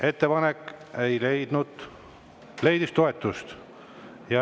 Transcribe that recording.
Ettepanek leidis toetust.